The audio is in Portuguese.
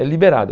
É liberado.